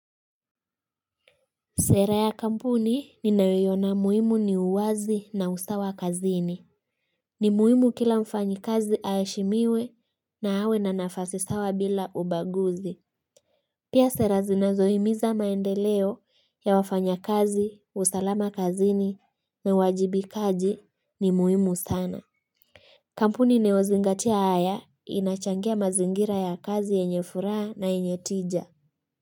Sera ya kampuni ni nayo iona muhimu ni uwazi na usawa kazini. Ni muhimu kila mfanyi kazi aheshimiwe na awe na nafasi sawa bila ubaguzi. Pia sera zinazohimiza maendeleo ya wafanya kazi, usalama kazini na wajibikaji ni muhimu sana. Kampuni inayo zingatia haya inachangia mazingira ya kazi yenye furaha na yenye tija.